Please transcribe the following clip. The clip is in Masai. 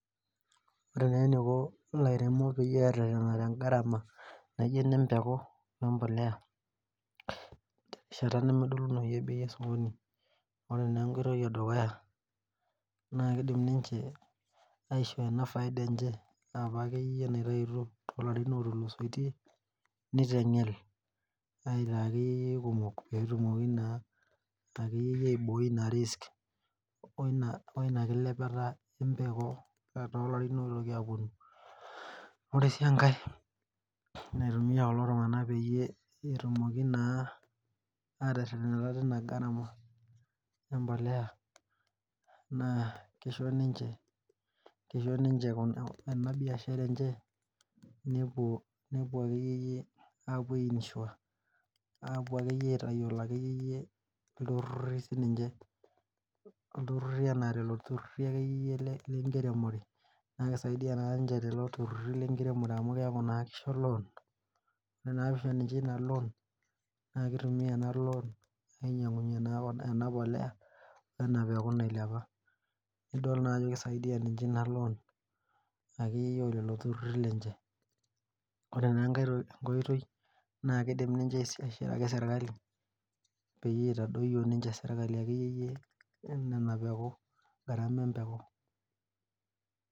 Oree naa eneiko ilairemok peyie erretena te garama naijo ene mbeku we embolea terishata nemedolunoyu e bei e sokoni ,oree na entoki edukuya keidim ninche aishoo enafaida enye apa ake iyie naitautuo too laarin otulusoitie neitengele aitaa ake iyieiyie kumook peetumokii naaake iyie aiboi ina risk oina kilepata embeku too larin oitoki aponuu oree sii enkaii metum ninye kulo tunganak peetumoki naa ateretenata toina garama embolea na keisho ninche ena biashara enche nepuo ake iyieiyie apuo ai insure ake iyie aitayiolo iltururi sininche anaa lolo tururi ake iyie lenkiremore naa keisaidia ninche lolo tururi lenkiremore amu keeku keisho loan naa keitumia ena loan ainyangunye ena mbolea ena mbeku nailepa nidool naa ajo keisaidia ninye ena loan ake iyie oo lelo tururi lenche oree naa enkai koitoi naa keidim ninche aishiraki sirikali peyie eitadoyuo ninye serikali ina mbeku.